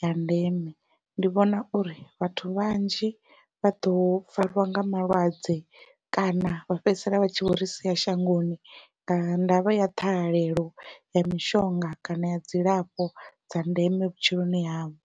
ya ndeme, ndi vhona uri vhathu vhanzhi vha ḓo farwa nga malwadze kana vha fhedzisela vha tshi vho ri sia shangoni nga ndavha ya ṱhahalelo ya mishonga kana ya dzilafho dza ndeme vhutshiloni havho.